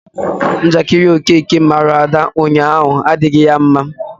Njakịrị Okeke mara Ada ụnyaahụ adịghị ya mma.